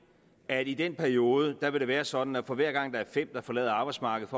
at i den periode vil det være sådan at for hver gang der er fem der forlader arbejdsmarkedet